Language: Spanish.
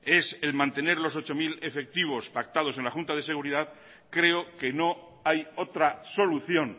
es el mantener los ocho mil efectivos pactados en la junta de seguridad creo que no hay otra solución